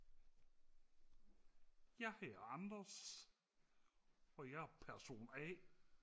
Jeg hedder Anders og jeg er person a